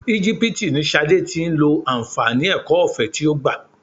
Igipiti ni Ṣadé tí ń lo àǹfààní ẹ̀kọ́ ọ̀fẹ́ tí ó gbà.